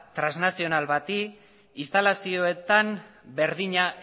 transnazional bati instalazioetan berdina